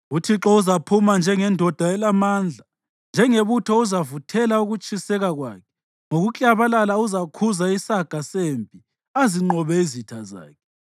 UThixo uzaphuma njengendoda elamandla, njengebutho uzavuthela ukutshiseka kwakhe; ngokuklabalala uzakhuza isaga sempi azinqobe izitha zakhe.